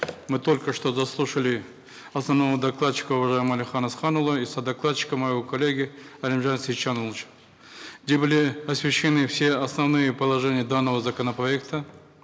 мы только что дослушали основного докладчика уважаемого әлихана асқанұлы и содокладчика моего коллегу алимжана сайтжановича где были освещены все основные положения данного законопроекта